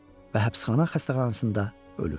və həbsxana xəstəxanasında ölür.